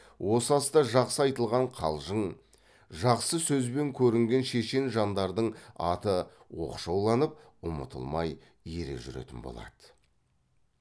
осы аста жақсы айтылған қалжың жақсы сөзбен көрінген шешен жандардың аты оқшауланып ұмытылмай ере жүретін болады